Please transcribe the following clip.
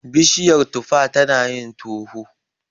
Bishiyar tufar tanayin toho.